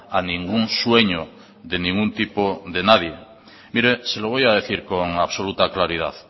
a ningún sueño de ningún tipo de nadie mire se lo voy a decir con absoluta claridad